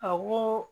Awɔ